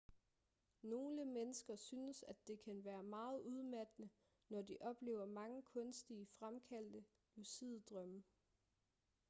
nogle mennesker synes at det kan være meget udmattende når de oplever mange kunstigt fremkaldte lucide drømme